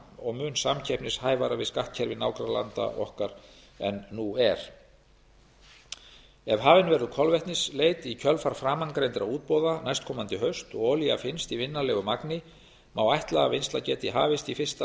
mun samkeppnishæfara við skattkerfi nágrannalanda okkar en nú er ef hafin verður kolvetnisleit í kjölfar framangreindra útboða næstkomandi haust og olía finnst í vinnanlegu magni má ætla að vinnsla geti hafist í fyrst